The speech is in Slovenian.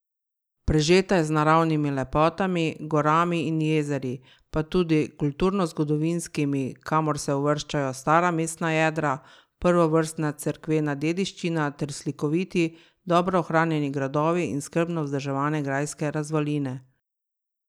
Prežeta je z naravnimi lepotami, gorami in jezeri, pa tudi kulturnozgodovinskimi, kamor se uvrščajo stara mestna jedra, prvovrstna cerkvena dediščina ter slikoviti, dobro ohranjeni gradovi in skrbno vzdrževane grajske razvaline.